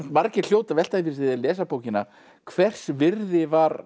margir hljóti að velta fyrir þeir lesa bókina hvers virði var